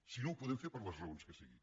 si no ho podem fer per les raons que siguin